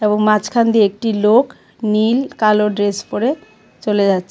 এবং মাঝখান দিয়ে একটি লোক নীল কালো ড্রেস পরে চলে যাচ্ছে .